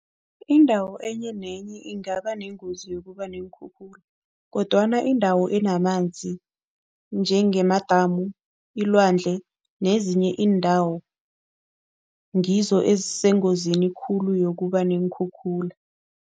Indawo enye nenye ingaba nengozi yokuba neenkhukhula kodwana indawo enamanzi njengamadamu, ilwandle nezinye iindawo ngizo ezisengozini khulu yokuba neenkhukhula.